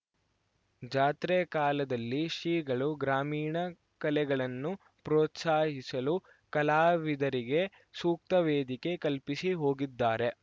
ಜಾತ್ರೆ ಕಾಲದಲ್ಲಿ ಶ್ರೀಗಳು ಗ್ರಾಮೀಣ ಕಲೆಗಳನ್ನು ಪ್ರೋತ್ಸಾಹಿಸಲು ಕಲಾವಿದರಿಗೆ ಸೂಕ್ತ ವೇದಿಕೆ ಕಲ್ಪಿಸಿ ಹೋಗಿದ್ದಾರೆ